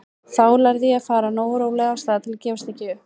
Þá lærði ég að fara nógu rólega af stað til að gefast ekki upp.